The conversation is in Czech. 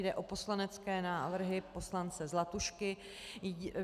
Jde o poslanecké návrhy poslance Zlatušky.